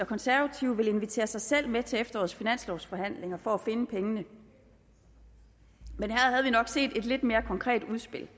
konservative vil invitere sig selv med til efterårets finanslovsforhandlinger for at finde pengene men her havde vi nok set et lidt mere konkret udspil